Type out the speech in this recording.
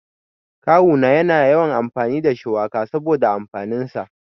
Kawu na yana yawan amfani da shuwaka saboda amfanin sa.